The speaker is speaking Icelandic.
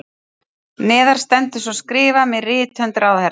Neðar stendur svo skrifað með rithönd ráðherra